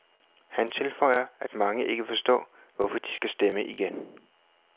Han tilføjer, at mange ikke forstår, hvorfor de skal stemme igen.